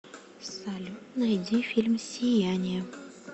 салют найди фильм сияние